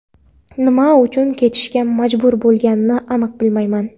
Nima uchun ketishga majbur bo‘lganini aniq bilmayman.